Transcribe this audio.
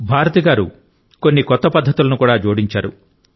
భారతి గారు కొన్ని కొత్త పద్ధతులను కూడా జోడించారు